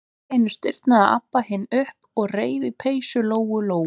Allt í einu stirðnaði Abba hin upp og reif í peysu Lóu-Lóu.